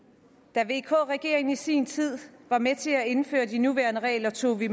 da vk regeringen i sin tid var med til at indføre de nuværende regler tog vi